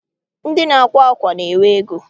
Ndị na-akwa ákwà na-enwe ego.